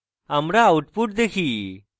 আমরা output দেখি